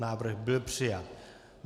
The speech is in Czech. Návrh byl přijat.